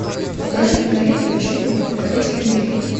покажи киноленту джимми покоритель америки